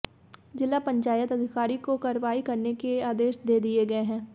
जिला पंचायत अधिकारी को कार्रवाई करने के आदेश दे दिए गए हैं